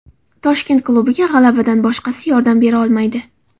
Toshkent klubiga g‘alabadan boshqasi yordam bera olmaydi.